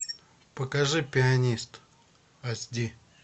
покажи пианист аш ди